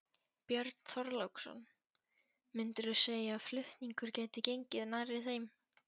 Björn Þorláksson: Myndirðu segja að flutningur gæti gengið nærri þeim?